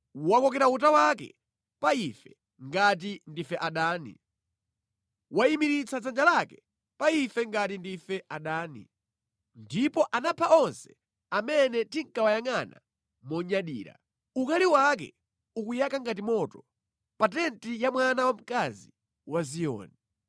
Wakokera uta wake pa ife ngati ndife adani; wayimiritsa dzanja lake pa ife ngati ndife adani, ndipo anapha onse amene tinkawayangʼana monyadira. Ukali wake ukuyaka ngati moto pa tenti ya mwana wamkazi wa Ziyoni.